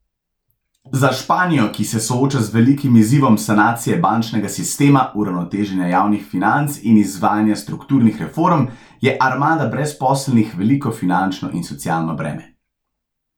Za Španijo, ki se sooča z velikim izzivom sanacije bančnega sistema, uravnoteženja javnih financ in izvajanje strukturnih reform, je armada brezposelnih veliko finančno in socialno breme.